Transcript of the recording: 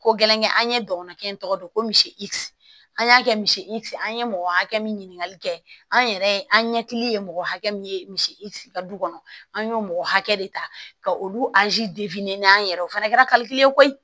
Ko gɛlɛnkɛ an ye dɔgɔninkɛ in tɔgɔ dɔn ko misi an y'a kɛ misi an ye mɔgɔ hakɛ min ɲininkali kɛ an yɛrɛ an ɲɛkili ye mɔgɔ hakɛ min ye misi ka du kɔnɔ an y'o mɔgɔ hakɛ de ta ka olu an yɛrɛ ye o fana kɛra koyi